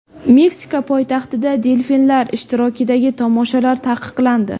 Meksika poytaxtida delfinlar ishtirokidagi tomoshalar taqiqlandi.